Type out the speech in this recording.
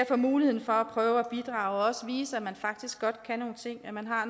få muligheden for at prøve at bidrage og også vise at man faktisk godt kan nogle ting at man har